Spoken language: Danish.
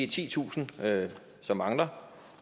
titusind som mangler